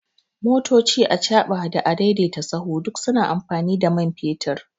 Motoci, achaɓa da a daidaita sahu duk suna amfani da man fetur